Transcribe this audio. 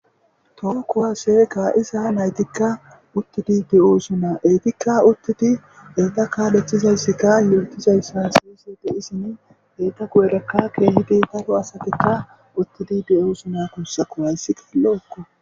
Toho kuwasse ka7iza naytikka uttidi de7oosona. Ettikka uttidi etta kaaletizayssikka yootizayssa haasa7ide de7iyassinne eeta goyerakka ke7idi daaro asatikka utidi de7oosona guussakko hayssikka lo7okko.